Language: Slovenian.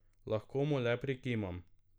Lahko mu le prikimam.